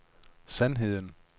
sandheden